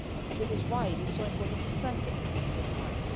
This is why it is so important to strengthen it at this time.